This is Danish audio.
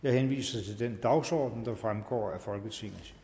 jeg henviser til den dagsorden der fremgår af folketingets